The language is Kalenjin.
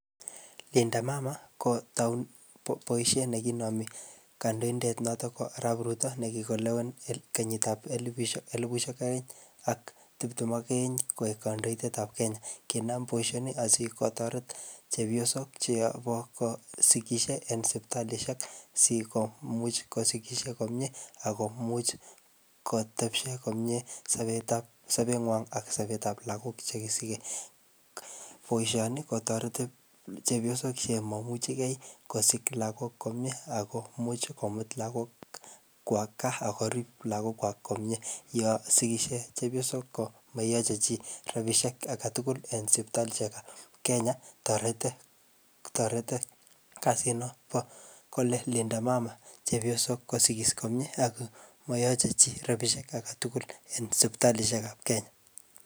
Linda Mama kotau boisiet nekinami kandoidet notok ko Arap Ruto, nekikolewen kenyiishekab elepushek, elupushek aeng ak tiptem ak aeng koek kandoidetab Kenya. Kinam boisoni asikotoret chepyosok che yobo ko sikishie eng sipitalishek sikomuch kosigishie komyee akomuch kotebsho komyee, sobetab sobengwong ak sobetab lagok che kikisikey. Boisoni kotoreti chepyosok chemo imuchikey kosik lagok komyee, akomuch komut lagok kwo gaa akorib lagok kwak komyee. Yosigishie chepyosok ko mayache chiy rabisiek age tugul eng sipitalishek ab Kenya. Torete, torete kasit nobo Linda Mama chepyosok kosigis komyee, ako mayaje chi rabisiek age tugul eng siptalishekab Kenya.